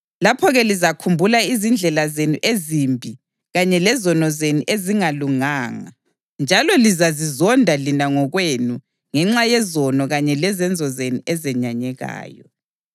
Lapho-ke lizakhumbula izindlela zenu ezimbi kanye lezono zenu ezingalunganga, njalo lizazizonda lina ngokwenu ngenxa yezono kanye lezenzo zenu ezenyanyekayo.